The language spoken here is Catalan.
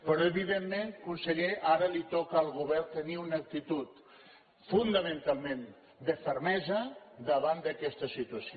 però evidentment conseller ara li toca al govern tenir una actitud fonamentalment de fermesa davant d’aquesta situació